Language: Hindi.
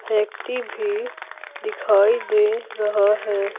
व्यक्ति भी दिखाई दे रहा है।